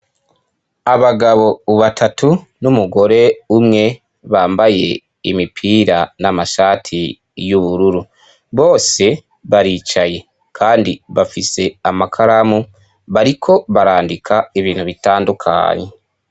Abagabo batatu n'umugore umwe bambaye imipira n'amashati y'ubururu bose baricaye kandi bafise amakaramu bariko barandika ibintu bitandukanye.